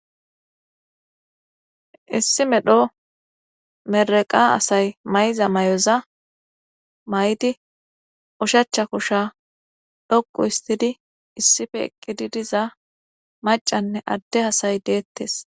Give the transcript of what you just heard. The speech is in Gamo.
Issi medho meraqa asay mayza may'oza may'di ushacha kosha dhokqu istidi issife ekkidi diza macanne adde hasay deettes.